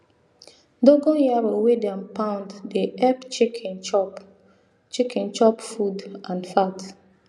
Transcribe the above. dogon yaro wey dem pound dey epp chicken chop chicken chop food and fat